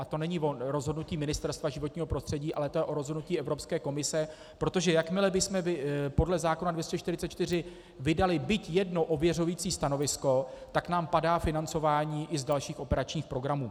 A to není o rozhodnutí Ministerstva životního prostředí, ale je to o rozhodnutí Evropské komise, protože jakmile bychom podle zákona 244 vydali byť jedno ověřující stanovisko, tak nám padá financování i z dalších operačních programů.